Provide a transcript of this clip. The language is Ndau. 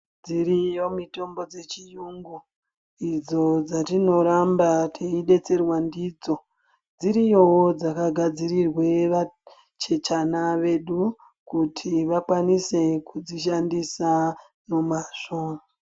Dziriyo mitombo dzechirungu idzo dzatinoramba tichidetserwa ndidzo. Dziriyowo dzakagadzirirwe vachechana vedu kuti vakwanise kudzishandisa nomazvo.